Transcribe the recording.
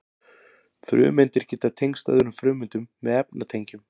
frumeindir geta tengst öðrum frumeindum með efnatengjum